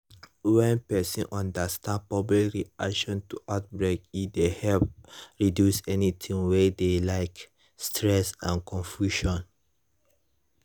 when person understand public reaction to outbreak e dey help reduce anytin wey dey like stress and confusion